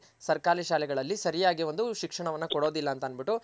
ಸರ್ಕಾರಿ ಶಾಲೆಗಳಲ್ಲಿ ಸರಿಯಾಗಿ ಒಂದು ಶಿಕ್ಷಣವನ ಕೊಡೋದಿಲ್ಲಅಂತ ಅನ್ಬಿಟ್ಟು